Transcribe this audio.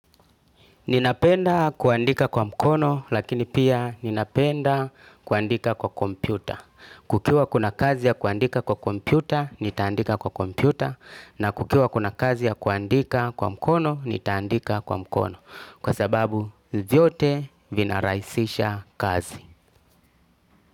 Ninapenda kuandika kwa mkono lakini pia ninapenda kuandika kwa kompyuta. Kukiwa kuna kazi ya kuandika kwa kompyuta, nitaandika kwa kompyuta. Na kukiwa kuna kazi ya kuandika kwa mkono, nitandika kwa mkono. Kwa sababu vyote vinaraisisha kazi.